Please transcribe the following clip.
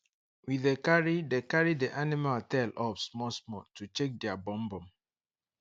we dey carry dey carry the animal tail up small small to check their bum bum